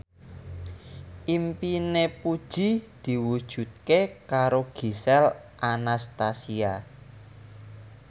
impine Puji diwujudke karo Gisel Anastasia